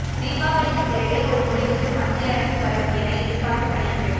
தீபாவளிக்குப் பிறகே ஒரு முடிவுக்கு மத்திய அரசு வரும் என எதிர்பார்க்கப்படுகிறது